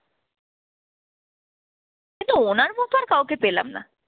কিন্তু ওনার মত আর কাউকে পেলাম না।